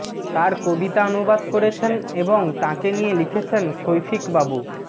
তার কবিতা অনুবাদ করেছেন এবং তাকে নিয়ে লিখেছেন শৌফিক বাবু